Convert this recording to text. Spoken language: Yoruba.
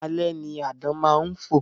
Alẹ́ ni àdán máa ń fò